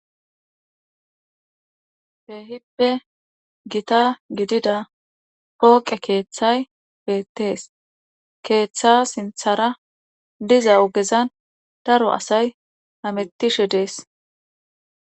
Keehippe gita gidida pooqe keeththay beettees keeththa sinthara diza ogezan daro asay hametishe dees